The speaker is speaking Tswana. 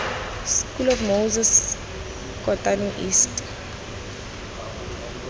school of moses kotane east